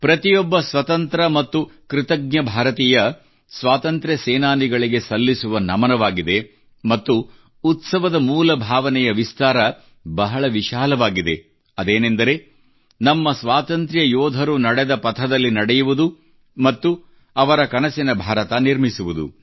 ಪ್ರತಿಯೊಬ್ಬ ಸ್ವತಂತ್ರ ಮತ್ತು ಕೃತಜ್ಞ ಭಾರತೀಯ ಸ್ವಾತಂತ್ರ್ಯ ಸೇನಾನಿಗಳಿಗೆ ಸಲ್ಲಿಸುವ ನಮನವಾಗಿದೆ ಮತ್ತು ಈ ಉತ್ಸವದ ಮೂಲಭಾವನೆಯ ವಿಸ್ತಾರ ಬಹಳ ವಿಶಾಲವಾಗಿದೆ ಅದೇನೆಂದರೆ ನಮ್ಮ ಸ್ವಾತಂತ್ರ್ಯ ಯೋಧರು ನಡೆದ ಪಥದಲ್ಲಿ ನಡೆಯುವುದು ಮತ್ತು ಅವರ ಕನಸಿನ ಭಾರತ ನಿರ್ಮಿಸುವುದು